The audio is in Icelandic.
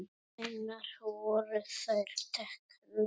Hvenær voru þær teknar?